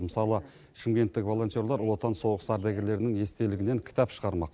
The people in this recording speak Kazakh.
мысалы шымкенттік волонтерлар ұлы отан соғысы ардагерлерінің естелігінен кітап шығармақ